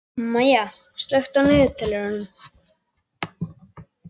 Maya, slökktu á niðurteljaranum.